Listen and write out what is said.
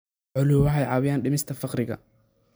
Xooluhu waxay caawiyaan dhimista faqriga.